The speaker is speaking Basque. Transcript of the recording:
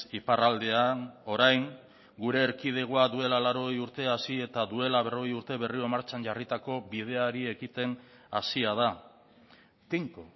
iparraldean orain gure erkidegoa duela laurogei urte hasi eta duela berrogei urte berriro martxan jarritako bideari ekiten hasia da tinko